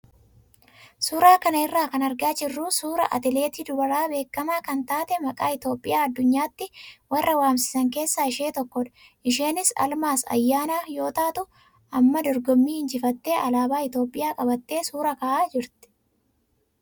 Suuraa kana irraa kan argaa jirru suuraa atileetii dubaraa beekamaa kan taate maqaa Itoophiyaa addunyaatti warra waamsisan keessaa ishee tokkodha. Isheenis Almaaz Ayyaanaa yoo taa'u, amma dorgommii injifattee alaabaa Itoophiyaa qabattee suuraa ka'aa jirti.